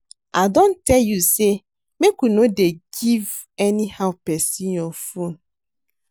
I don tell you say make you no dey give anyhow person your phone